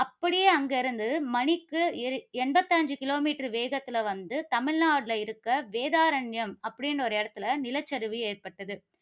அப்படியே அங்கு இருந்து மணிக்கு எண்பத்தி ஐந்து kilometer வேகத்தில வந்து, தமிழ்நாட்டில இருக்க வேதாரண்யம் அப்படின்னு ஒரு இடத்தில நிலச்சரிவு ஏற்பட்டது.